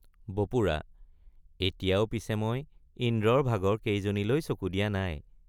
বপুৰা—এতিয়াও পিছে মই ইন্দ্ৰৰ ভাগৰ কেজনীলৈ চকু দিয়া নাই।